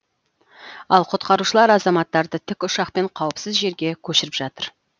ал құтқарушылар азаматтарды тікұшақпен қауіпсіз жерге көшіріп жатыр